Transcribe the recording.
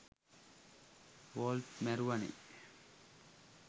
ward මැරුවනේ